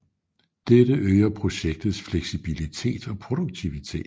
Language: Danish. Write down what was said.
Dette øger projektets fleksibilitet og produktivitet